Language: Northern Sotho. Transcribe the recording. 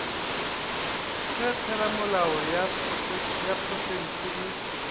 ge theramelao ya profense e